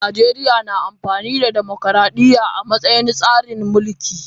Najeriya na amfani da tsarin dimokuradiyya a matsayin tsarin mulki.